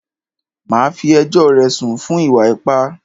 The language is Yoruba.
Màá fí ẹjọ́ rẹ̀ sùn fún ìwà ipá!